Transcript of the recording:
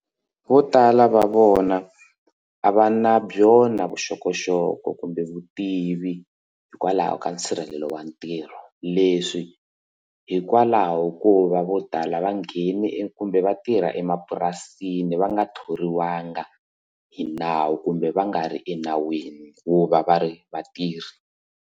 Vo tala va vona a va na byona vuxokoxoko kumbe vutivi hikwalaho ka nsirhelelo wa ntirho leswi hikwalaho hikuva vo tala va nghene kumbe vatirha emapurasini va nga thoriwanga hi nawu kumbe va nga ri enawini ku va va ri vatirhi.